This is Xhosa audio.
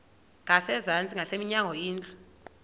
ngasezantsi ngasemnyango indlu